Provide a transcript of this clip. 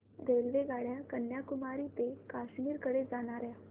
रेल्वेगाड्या कन्याकुमारी ते काश्मीर कडे जाणाऱ्या